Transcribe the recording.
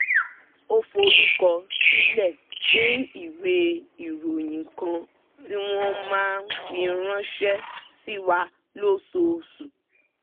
ó forúkọ sílẹ̀ fún ìwé ìròyìn kan tí wọ́n máa ń fi ránṣẹ́ sí wa lóṣooṣù